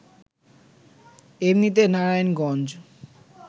এমনিতে নারায়ণগঞ্জ